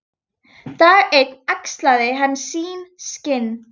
Dag einn axlaði hann sín skinn.